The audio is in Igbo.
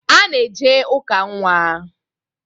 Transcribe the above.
A na-eje ụka nnwa.